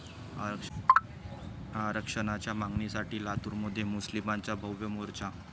आरक्षणाच्या मागणीसाठी लातूरमध्ये मुस्लिमांचा भव्य मोर्चा